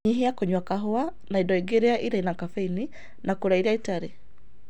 Nyĩhĩa kũnywa kahũa na ĩndo ĩngĩ ĩre na kafeĩnĩ na kũrĩa ĩrĩa ĩtarĩ